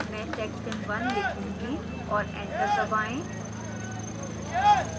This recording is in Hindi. मैं section 1 लिखूँगी और enter दबाएं